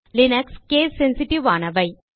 Linux case sensitive ஆனவை